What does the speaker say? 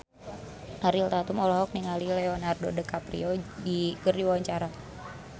Ariel Tatum olohok ningali Leonardo DiCaprio keur diwawancara